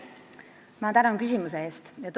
Ma tänan küsimuse eest!